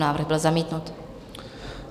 Návrh byl zamítnut.